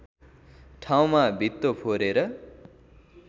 ठाउँमा भित्तो फोरेर